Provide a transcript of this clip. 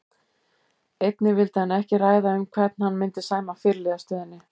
Einnig vildi hann ekki ræða um hvern hann myndi sæma fyrirliðastöðunni.